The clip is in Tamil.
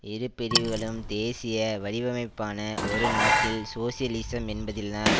இரு பிரிவுகளும் தேசிய வடிவமைப்பான ஒரு நாட்டில் சோசியலிசம் என்பதில்தான்